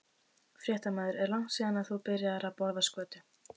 Fréttamaður: Er langt síðan að þú byrjaðir að borða skötu?